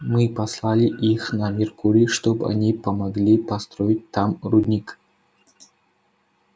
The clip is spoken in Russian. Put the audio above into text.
мы послали их на меркурий чтобы они помогли построить там рудник